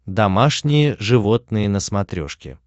домашние животные на смотрешке